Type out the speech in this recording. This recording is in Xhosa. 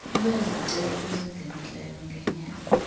lwezicelo ezingenileyo ngenyanga